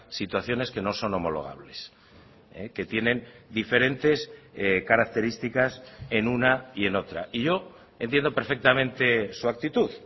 situaciones que no son homologables que tienen diferentes características en una y en otra y yo entiendo perfectamente su actitud